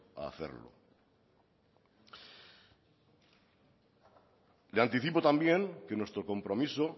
a hacerlo le anticipo también que nuestro compromiso